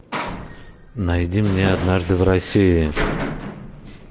найди мне однажды в россии